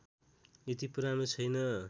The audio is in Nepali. यति पुरानो छैन